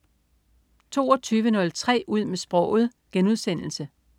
22.03 Ud med sproget*